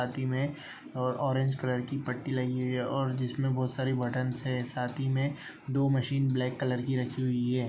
साथ ही मे और ऑरेंज कलर की पट्टी लगी हुई हैं और जिसमें बहोत सारे बटन्स हैं साथ ही मे दो मशीन ब्लैक कलर की रखी हुई है ।